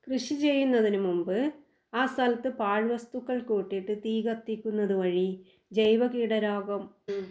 കൃഷി ചെയ്യുന്നതിന് മുമ്പ് ആ സ്ഥലത്ത് പാഴ്വസ്തുക്കൾ കൂട്ടിയിട്ട് തീ കത്തിക്കുന്നത് വഴി ജൈവ കീടരോഗം